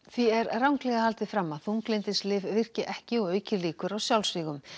því er ranglega haldið fram að þunglyndislyf virki ekki og auki líkur á sjálfsvígum